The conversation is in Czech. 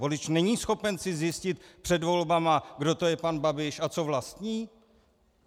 Volič není schopen si zjistit před volbami, kdo to je pan Babiš a co vlastní?